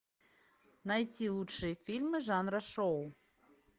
найти лучшие фильмы жанра шоу